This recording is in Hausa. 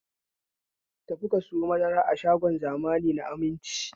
Ta fi ka sayo madara a shagon zamani na Aminci!